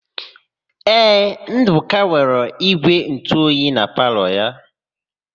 Ee, Ndụka nwere ígwèntụoyi na palọ ya.